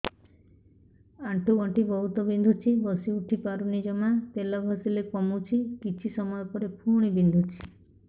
ଆଣ୍ଠୁଗଣ୍ଠି ବହୁତ ବିନ୍ଧୁଛି ବସିଉଠି ପାରୁନି ଜମା ତେଲ ଘଷିଲେ କମୁଛି କିଛି ସମୟ ପରେ ପୁଣି ବିନ୍ଧୁଛି